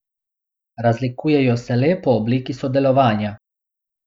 Razlikujejo se le po obliki sodelovanja.